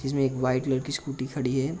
जिसमें एक white colour की स्कूटी खड़ी है।